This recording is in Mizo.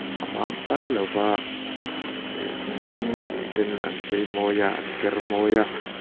a man pal lova ih mihring lem ten an chei mawi a an ker mawi a.